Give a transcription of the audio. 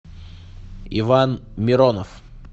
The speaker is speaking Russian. иван миронов